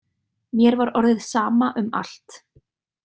Mér var orðið sama um allt.